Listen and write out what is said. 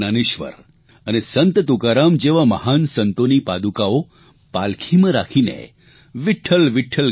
સંત જ્ઞાનેશ્વર અને સંત તુકારામ જેવા મહાન સંતોની પાદુકાઓ પાલખીમાં રાખીને વિઠ્ઠલ